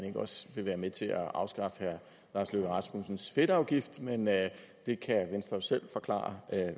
ikke også vil være med til at afskaffe herre lars løkke rasmussens fedtafgift men det kan venstre jo selv forklare